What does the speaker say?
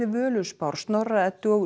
Völuspár Snorra Eddu og